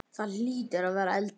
Þú hlýtur að vera eldri!